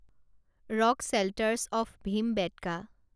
rock shelters of Bhimbetka